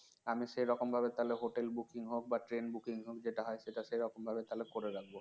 আমি সেরকমভাবে তাহলে hotel booking হোক বা train booking হোক যেটা হয় সেটা সেরকমভাবে তাহলে করে রাখব